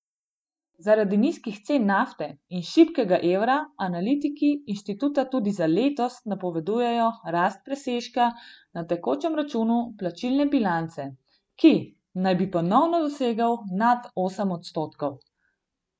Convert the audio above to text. Zaradi nizkih cen nafte in šibkega evra analitiki inštituta tudi za letos napovedujejo rast presežka na tekočem računu plačilne bilance, ki naj bi ponovno dosegel nad osem odstotkov.